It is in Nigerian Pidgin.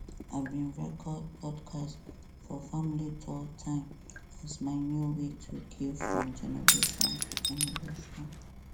i bin record podcast podcast for family tori time as my new way to give from generation to generation